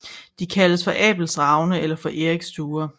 De kaldes for Abels ravne eller for Eriks duer